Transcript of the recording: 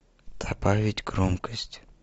добавить громкость